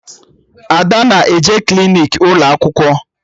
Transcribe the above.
Ada na-eje klinik ụlọ akwụkwọ